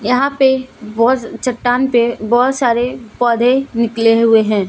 यहां पे बहोत चट्टान पे बहोत सारे पौधे निकले हुए हैं।